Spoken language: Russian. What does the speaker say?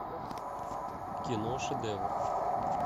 кино шедевр